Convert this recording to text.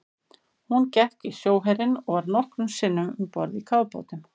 Hún gekk í sjóherinn og var nokkrum sinnum um borð í kafbátum.